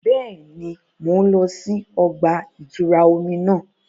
Bẹẹni, Mo n lọ sí ọgba-itura omí náà